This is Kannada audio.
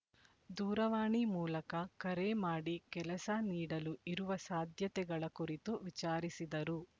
ದೂರವಾಣಿ ಮೂಲಕ ಕರೆ ಮಾಡಿ ಕೆಲಸ ನೀಡಲು ಇರುವ ಸಾಧ್ಯತೆಗಳ ಕುರಿತು ವಿಚಾರಿಸಿದರು